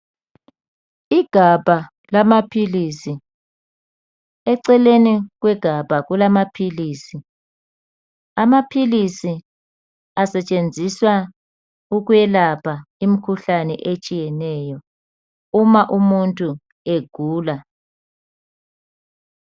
Igabha lamaphilisi. Eceleni kwegabha kulamaphilisi. Asetshenziswa ukwelapha imikhuhlane etshiyeneyo uma umuntu egula.